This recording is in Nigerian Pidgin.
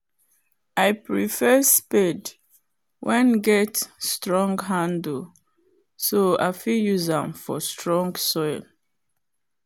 i prefare spade wen get strong handle so i fit use am for strong soil